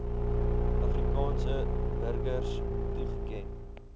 afrikaanse burgers toegeken